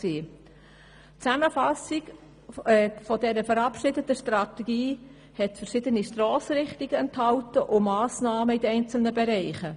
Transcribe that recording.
Die Zusammenfassung dieser verabschiedeten Strategie enthielt verschiedene Stossrichtungen und Massnahmen in den einzelnen Bereichen.